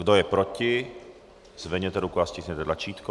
Kdo je proti, zvedněte ruku a stiskněte tlačítko.